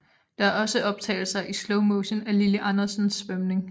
Der er også optagelser i slowmotion af Lilli Andersens svømning